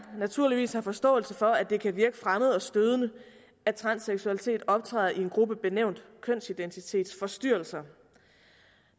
naturligvis har forståelse for at det kan virke fremmed og stødende at transseksualitet optræder i en gruppe benævnt kønsidentitetsforstyrrelser